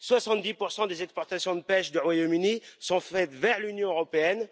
Soixante dix pour cent des exportations de pêche du Royaume Uni sont faites vers l'Union européenne